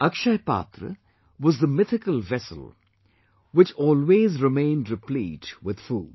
Akshaya Patra was the mythical vessel which always remained replete with food